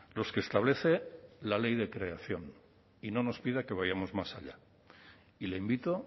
los que establece la ley de creación y no nos pida que vayamos más allá y le invito